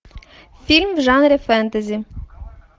фильм в жанре фэнтези